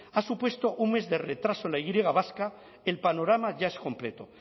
ha supuesto un mes de retraso en la y griega vasca el panorama ya es completo